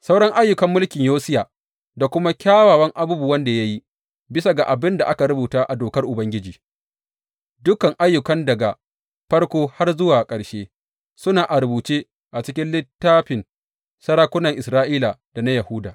Sauran ayyukan mulkin Yosiya da kuma kyawawan abubuwan da ya yi, bisa ga abin da aka rubuta a Dokar Ubangiji, dukan ayyukan, daga farko har zuwa ƙarshe, suna a rubuce cikin littafin sarakunan Isra’ila da na Yahuda.